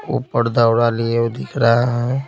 ऊपर दौड़ा लिए वो दिख रहा है।